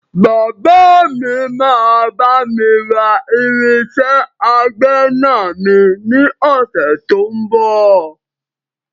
Bàbá mi máa bami ra irinsẹ́ àgbẹ̀na mi ni ọ̀sẹ̀ tó ń bọ̀.